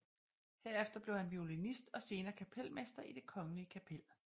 Herefter blev han violinist og senere kapelmester i Det Kongelige Kapel